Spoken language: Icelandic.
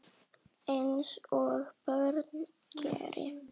Eins og börn gera.